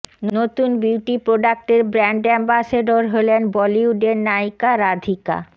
নতুন বিউটি প্রোডাক্টের brand ambassador হলেন বলিউডের নায়িকা রাধিকা